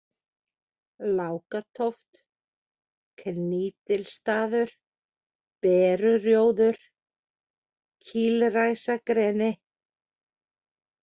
Lákatóft, Knýtilstaður, Berurjóður, Kýlræsagreni